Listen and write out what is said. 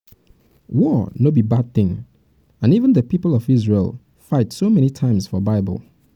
war no be bad thing and even the people of isreal fight so many times for bible